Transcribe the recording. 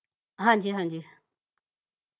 ਹਾਂਜੀ ਹਾਂਜੀ